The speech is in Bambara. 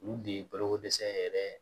Olu de ye balokodɛsɛ yɛrɛ